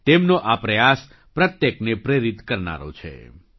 તેમનો આ પ્રયાસ પ્રત્યેકને પ્રેરિત કરનારો છે